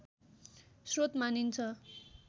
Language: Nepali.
श्रोत मानिन्छ